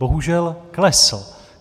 Bohužel klesl.